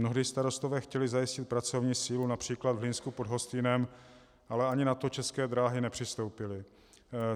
Mnohdy starostové chtěli zajistit pracovní sílu, například v Hlinsku pod Hostýnem, ale ani na to České dráhy nepřistoupily.